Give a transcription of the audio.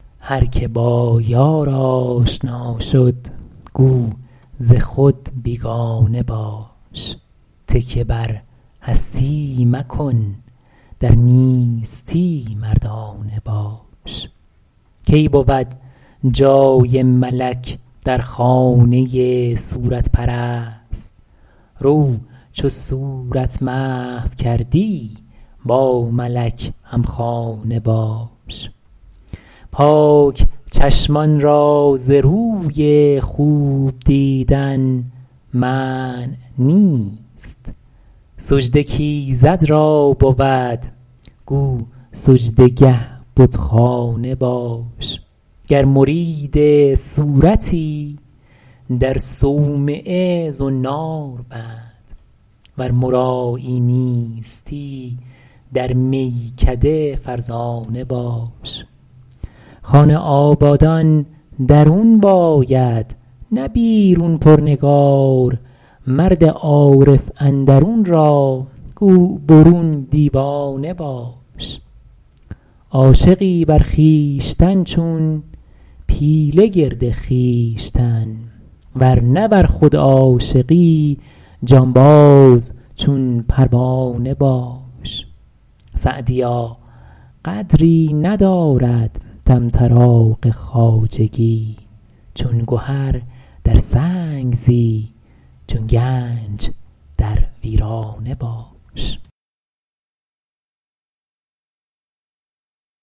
هر که با یار آشنا شد گو ز خود بیگانه باش تکیه بر هستی مکن در نیستی مردانه باش کی بود جای ملک در خانه صورت پرست رو چو صورت محو کردی با ملک همخانه باش پاک چشمان را ز روی خوب دیدن منع نیست سجده کایزد را بود گو سجده گه بتخانه باش گر مرید صورتی در صومعه زنار بند ور مرایی نیستی در میکده فرزانه باش خانه آبادان درون باید نه بیرون پر نگار مرد عارف اندرون را گو برون دیوانه باش عاشقی بر خویشتن چون پیله گرد خویش تن ور نه بر خود عاشقی جانباز چون پروانه باش سعدیا قدری ندارد طمطراق خواجگی چون گهر در سنگ زی چون گنج در ویرانه باش